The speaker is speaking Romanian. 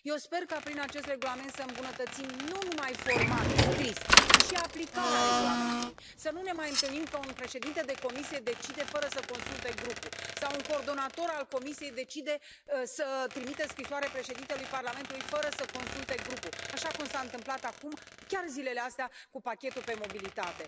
Eu sper ca prin acest regulament să îmbunătățim nu numai formal, scris, ci și aplicarea regulamentului, să nu ne mai întâlnim că un președinte de comisie decide fără să consulte grupul, sau un coordonator al comisiei decide să trimită scrisoare Președintelui Parlamentului fără să consulte grupul, așa cum s a întâmplat acum, chiar zilele astea, cu pachetul pe mobilitate.